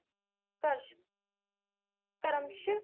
ਧਰਮਸ਼